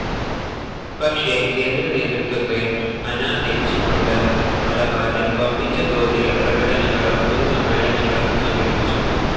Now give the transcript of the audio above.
പക്ഷെ കേന്ദ്ര നേതൃത്വത്തെ അനാദരിച്ചു കൊണ്ട് മലബാറിൽ വമ്പിച്ച തോതിൽ പ്രകടനങ്ങളും പൊതു സമ്മേളനങ്ങളും സംഘടിപ്പിച്ചു.